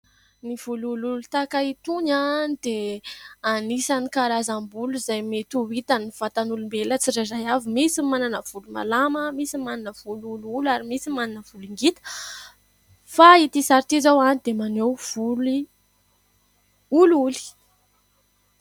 Ny volo olioly tahaka itony dia anisan'ny karazam-bolo izay mety ho hitan'ny vatan'olombelona tsirairay avy. Misy ny manana volo malama, misy ny manana volo olioly ary misy manana volo ngita fa ity sary ity izao dia maneho volo olioly.